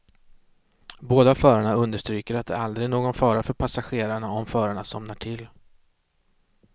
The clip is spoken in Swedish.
Båda förarna understryker att det aldrig är någon fara för passagerarna om förarna somnar till.